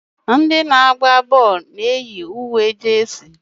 ndị na-agba bọọlụ na-eyi uwe jesi